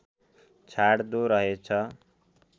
छाड्दो रहेछ